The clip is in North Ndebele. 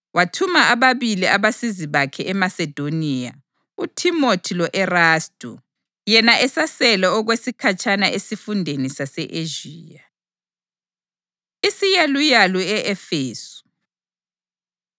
Wathuma ababili abasizi bakhe eMasedoniya, uThimothi lo-Erastu, yena esasele okwesikhatshana esifundeni sase-Ezhiya. Isiyaluyalu E-Efesu